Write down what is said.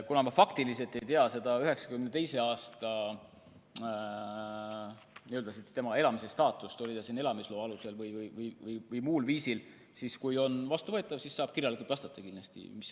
Kuna ma faktiliselt ei tea tema 1992. aasta elamise staatust, et oli ta siin elamisloa alusel või muul viisil, siis juhul, kui see on vastuvõetav, vastan sellele kirjalikult.